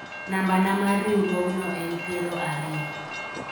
nambana mar riwruogno en piero ariyo